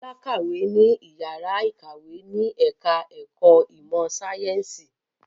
Bọ́lá kàwé ní ìyàrá-ìkàwé ní ẹ̀ka-ẹ̀kọ́ ìmọ̀-sáyẹ́ńsì.